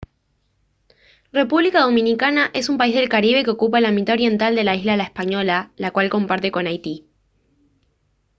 república dominicana es un país del caribe que ocupa la mitad oriental de la isla la española la cual comparte con haití